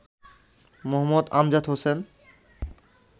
Md. Amjad Hossain